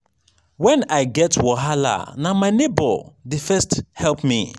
wen i get wahala na my nebor dey first help me.